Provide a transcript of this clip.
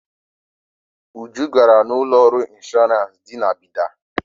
Uju gara na ụlọọrụ ịnshọrans dị na Bida.